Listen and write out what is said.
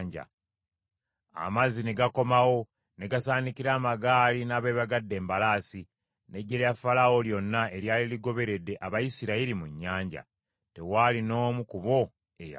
Amazzi ne gakomawo ne gasaanikira amagaali n’abeebagadde embalaasi, n’eggye lya Falaawo lyonna eryali ligoberedde Abayisirayiri mu nnyanja. Tewaali n’omu ku bo eyawona.